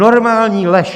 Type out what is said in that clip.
Normální lež!